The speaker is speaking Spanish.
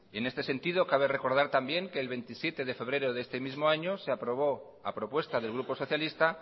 en este sentido cabe recordar también que el veintisiete de febrero de este mismo año se aprobó a propuesta del grupo socialista